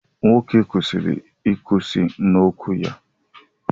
nwoke kwesịrị ịkwụsị n'okwu ya